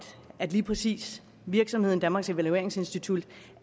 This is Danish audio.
at lige præcis virksomheden danmarks evalueringsinstitut